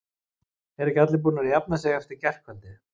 Eru ekki allir búnir að jafna sig eftir gærkvöldið?